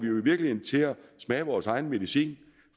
til at smage vores egen medicin